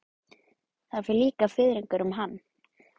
Það fer líka fiðringur um hann.